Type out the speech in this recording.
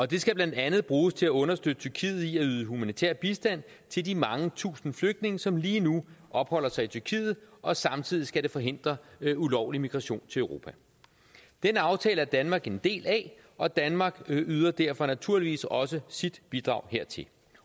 det skal blandt andet bruges til at understøtte tyrkiet i at yde humanitær bistand til de mange tusinde flygtninge som lige nu opholder sig i tyrkiet og samtidig skal det forhindre ulovlig migration til europa den aftale er danmark en del af og danmark yder derfor naturligvis også sit bidrag hertil